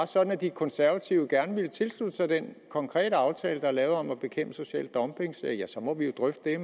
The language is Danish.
sådan at de konservative gerne vil tilslutte sig den konkrete aftale der er lavet om at bekæmpe social dumping så må vi jo drøfte det